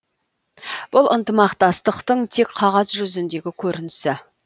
бұл ынтымақтастықтың тек қағаз жүзіндегі көрінісі